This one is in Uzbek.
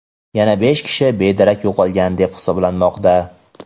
Yana besh kishi bedarak yo‘qolgan deb hisoblanmoqda.